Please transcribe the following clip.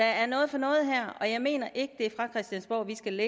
er noget for noget her og jeg mener ikke det er fra christiansborg vi skal